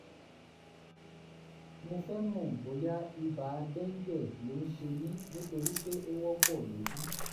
mo fẹ́ mọ̀ bóyá ibà dengue ló ń ṣe mí nítorí pé ó wọ́pọ̀ níbí